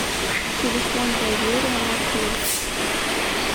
телефон доверия маршрут